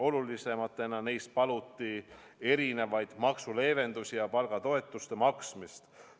Olulisematena neist paluti maksuleevendusi ja palgatoetuste maksmist.